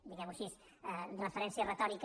diguemho així amb una referència retòrica